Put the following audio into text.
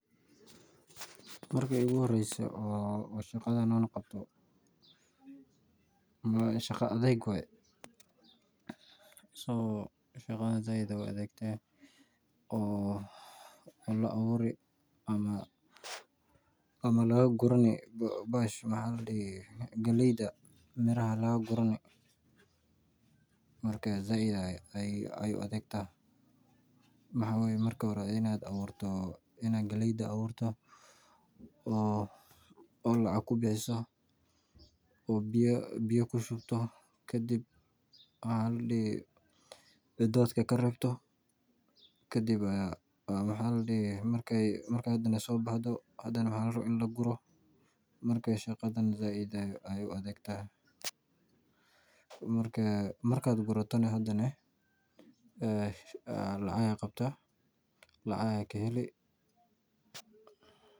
Marki iigu horeyse aan shaqadan qabto waay adeeg tahay oo waxaa la abuuri ama laga gurani galeyda miraha sait ayeey u adag tahay marka hore waan in galeyda aad abuurto oo lacag kubixiso oo biya siiso oo xolaha ka reebto kadib marki laaguro lacag ayeey qabtaa oo lacag ayaa kaheli.